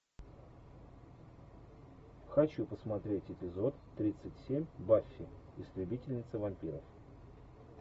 хочу посмотреть эпизод тридцать семь баффи истребительница вампиров